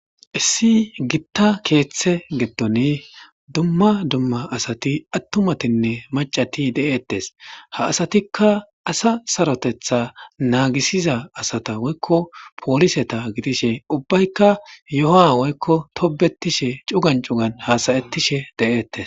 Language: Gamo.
Issi gitta keththa giddon duma duma asati attumatinne maccati de'ettes ha asatikka asa saroteththa nagisiza asata woyikko polliseta giddishe ubbayikka yohha woyikko tobbetishe cugan cugan hasayetishe dettes.